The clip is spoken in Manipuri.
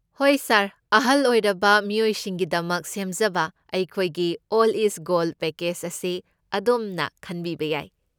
ꯍꯣꯏ ꯁꯥꯔ꯫ ꯑꯍꯜ ꯑꯣꯏꯔꯕ ꯃꯤꯑꯣꯏꯁꯤꯡꯒꯤꯗꯃꯛ ꯁꯦꯝꯖꯕ ꯑꯩꯈꯣꯏꯒꯤ 'ꯑꯜꯗ ꯏꯖ ꯒꯣꯜꯗ' ꯄꯦꯀꯦꯖ ꯑꯁꯤ ꯑꯗꯣꯝꯅ ꯈꯟꯕꯤꯕ ꯌꯥꯏ꯫